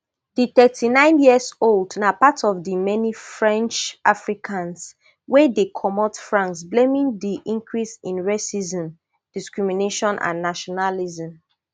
di thirty-nine years old na part of di many french africans wey dey comot france blaming di increase in racism discrimination and nationalism